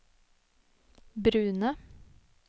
brune